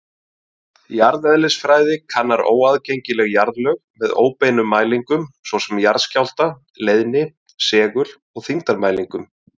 Jarðeðlisfræði kannar óaðgengileg jarðlög með óbeinum mælingum, svo sem jarðskjálfta-, leiðni-, segul- og þyngdarmælingum.